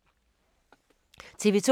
TV 2